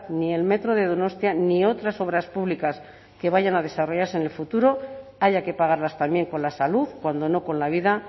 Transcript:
ni el metro de donostia ni otras obras públicas que vayan a desarrollarse en el futuro haya que pagarlas también con la salud cuando no con la vida